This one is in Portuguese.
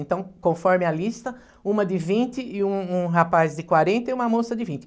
Então, conforme a lista, uma de vinte e um um rapaz de quarenta e uma moça de vinte.